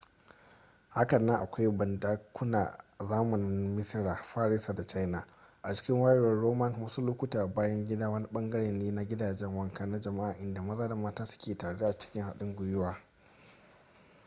hakanan akwai bandakuna a zamanin d misira farisa da china a cikin wayewar roman wasu lokuta bayan gida wani bangare ne na gidajen wanka na jama'a inda maza da mata suke tare a cikin haɗin gwiwa